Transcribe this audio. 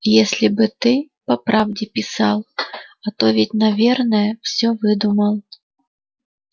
если бы ты по правде писал а то ведь наверное всё выдумал